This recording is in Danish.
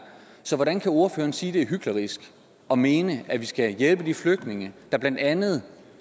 så hvordan kan ordføreren sige det er hyklerisk at mene at vi skal hjælpe de flygtninge der blandt andet